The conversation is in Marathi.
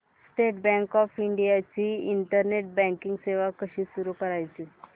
स्टेट बँक ऑफ इंडिया ची इंटरनेट बँकिंग सेवा कशी सुरू करायची